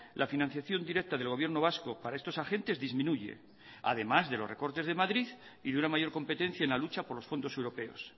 la financiación directa del gobierno vasco para estos agentes disminuye además de los recortes de madrid y de una mayor competencia en la lucha por los fondos europeos